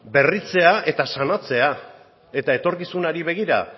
berritzea eta sanatzea eta etorkizunari begira